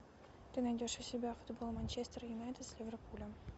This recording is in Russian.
ты найдешь у себя футбол манчестер юнайтед с ливерпулем